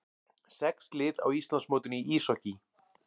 Sex lið á Íslandsmótinu í íshokkíi